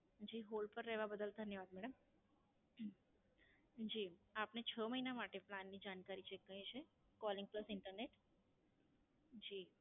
જી, Hold પર રહવા બદલ ધન્યવાદ મેડમ. જી, આપને છ મહિના માટે Plan ની જાણકારી Check કરવી છે? Calling plus internet? જી.